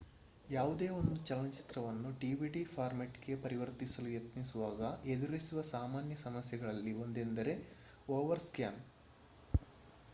ಯಾವುದೇ ಒಂದು ಚಲನಚಿತ್ರವನ್ನು ಡಿವಿಡಿ ಫಾರ್ಮ್ಯಾಟ್ ಗೆ ಪರಿವರ್ತಿಸಲು ಯತ್ನಿಸುವಾಗ ಎದುರಿಸುವ ಸಾಮಾನ್ಯ ಸಮಸ್ಯೆಗಳಲ್ಲಿ ಒಂದೆಂದರೆ ಓವರ್ ಸ್ಕ್ಯಾನ್